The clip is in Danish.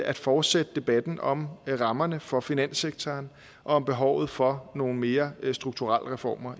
at fortsætte debatten om rammerne for finanssektoren og om behovet for nogle mere strukturelle reformer